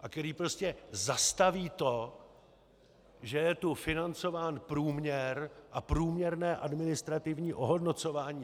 a kteří prostě zastaví to, že je tu financován průměr a průměrné administrativní ohodnocování.